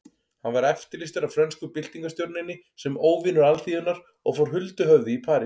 Hann var eftirlýstur af frönsku byltingarstjórninni sem óvinur alþýðunnar og fór huldu höfði í París.